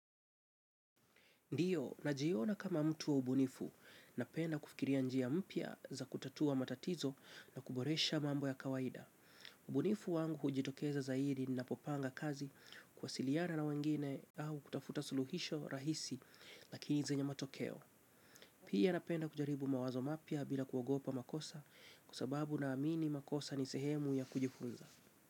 Ndiyo, najiona kama mtu wa ubunifu, napenda kufikiria njia mpya za kutatua matatizo na kuboresha mambo ya kawaida. Ubunifu wangu hujitokeza zaidi ninapo panga kazi kuwasiliana na wengine au kutafuta suluhisho rahisi lakini zenye matokeo. Pia napenda kujaribu mawazo mapya bila kuogopa makosa kwa sababu naamini makosa ni sehemu ya kujifunza.